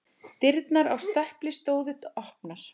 Dyrnar á stöpli stóðu opnar.